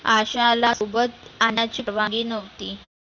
आशाला सोबत आणायची मुभा नव्हती.